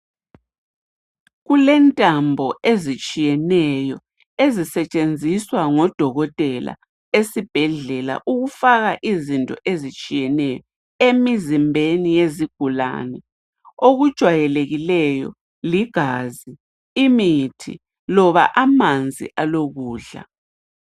Kulentambo ezitshiyeneyo ezisetshenziswa ngodokotela esibhedlela ukufaka izinto ezitshiyeneyo emizimbeni yezigulane. Okujwayelekileyo ligazi, imithi loba amanzi alokudla.